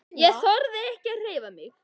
Ég þorði ekki að hreyfa mig.